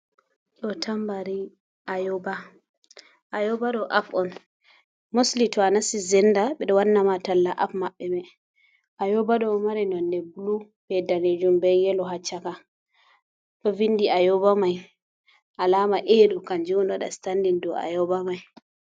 Ɗo tambari ayoba ɗo ap on mosli to a nasi zennda bid ,wannama talla aps maɓɓe may ayooba ,ɗo mari nonnde bulu be daneejum be yelo haa caka ,to vindi ayoba may alaama 'a' ɗo kanjum on waɗata sitandin ɗo ayooba may.